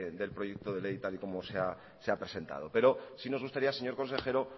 del proyecto de ley tal y como se ha presentado pero sí nos gustaría señor consejero